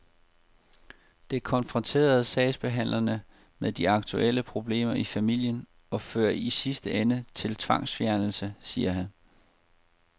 Det konfronterer sagsbehandlerne med de aktuelle problemer i familien og fører i sidste ende til tvangsfjernelse, siger han.